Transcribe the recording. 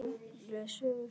Les sögur fyrir mig.